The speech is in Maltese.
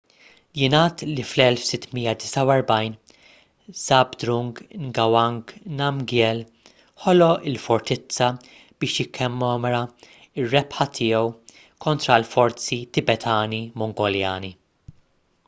jingħad li fl-1649 zhabdrung ngawang namgyel ħoloq il-fortizza biex jikkommemora r-rebħa tiegħu kontra l-forzi tibetani-mongoljani